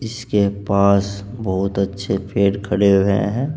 इसके पास बहोत अच्छे पेड़ खड़े हुए हैं।